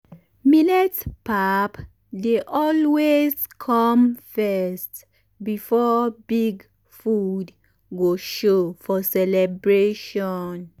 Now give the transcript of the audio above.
millet pap dey always come first before big food go show for celebration.